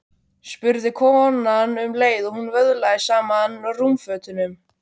spurði konan um leið og hún vöðlaði saman rúmfötunum.